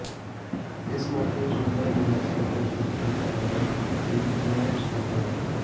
ਇਸ ਮੌਕੇ ਸੂਬਾ ਜਨਰਲ ਸਕੱਤਰ ਸੁਰਜੀਤ ਰਾਜਾ ਤੇ ਜੁਆਇੰਟ ਸਕੱਤਰ ਡਾ